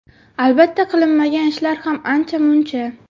Albatta qilinmagan ishlar ham ancha-muncha.